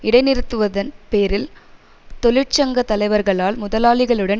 இடைநிறுத்துவதன் பேரில் தொழிற்சங்க தலைவர்களால் முதலாளிகளுடன்